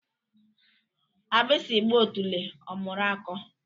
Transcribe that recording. Agbasi gba otule omuru ako